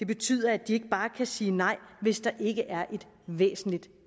betyde at de ikke bare kan sige nej hvis der ikke er et væsentligt